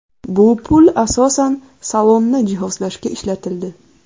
Bu pul asosan salonni jihozlashga ishlatildi.